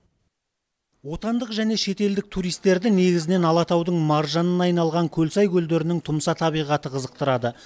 отандық және шетелдік туристерді негізінен алатаудың маржанына айналған көлсай көлдерінің тұмса табиғаты қызықтырады